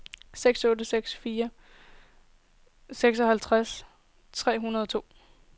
seks otte seks fire seksoghalvfems tre hundrede og to